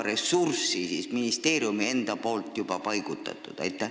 Kuhu on ministeerium juba ressursse paigutanud?